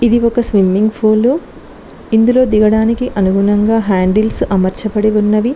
ఇది ఒక swimming pool ఇందులో దిగడానికి అనుగుణంగా హ్యాండిల్స్ అమర్చబడి ఉన్నవి.